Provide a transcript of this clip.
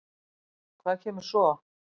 Hvað kemur svo?